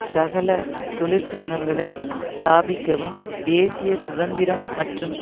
சகல தொழிற்சங்கங்களை ஸ்தாபிக்கவும் தேசிய சுதந்திரம் மற்றும்